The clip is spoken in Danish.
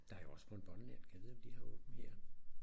Der er jo også Bonbonland gad vide om de har åbent her